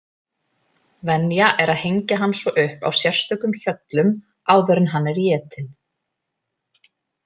Venja er að hengja hann svo upp á sérstökum hjöllum áður en hann er étinn.